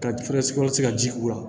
Ka fɛɛrɛ sigiyɔrɔ tigɛ ka ji k'u la